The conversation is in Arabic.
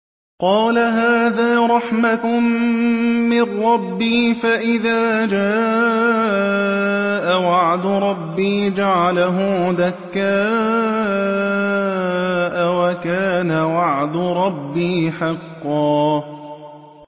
قَالَ هَٰذَا رَحْمَةٌ مِّن رَّبِّي ۖ فَإِذَا جَاءَ وَعْدُ رَبِّي جَعَلَهُ دَكَّاءَ ۖ وَكَانَ وَعْدُ رَبِّي حَقًّا